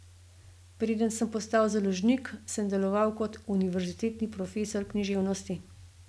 Preden sem postal založnik, sem deloval kot univerzitetni profesor književnosti.